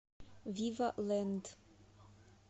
вива лэнд